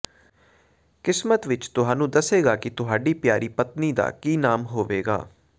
ਕਿਸਮਤ ਵਿਚ ਤੁਹਾਨੂੰ ਦੱਸੇਗਾ ਕਿ ਤੁਹਾਡੀ ਪਿਆਰੀ ਪਤਨੀ ਦਾ ਕੀ ਨਾਮ ਹੋਵੇਗਾ